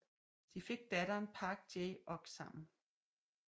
De fik datteren Park Jae Ok sammen